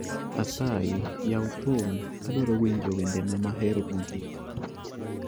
Asayi yaw thum adwaro winjo wendena mahero mogik